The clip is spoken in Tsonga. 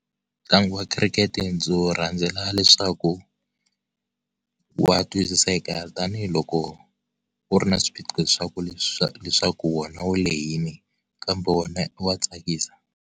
Ntlangu wa cricket ndzi wu rhandzela leswaku wa twisiseka tanihiloko, wu ri na swiphiqo leswaku leswaku wona wu lehile, kambe wona wa tsakisa.